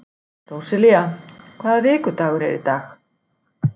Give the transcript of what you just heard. Róselía, hvaða vikudagur er í dag?